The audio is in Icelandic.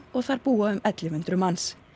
og þar búa um ellefu hundruð manns